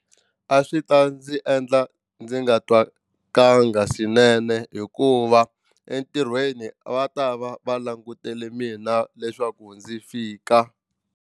A swi ta ndzi endla ndzi nga twa swinene hikuva entirhweni va ta va va langutele mina leswaku ndzi fika.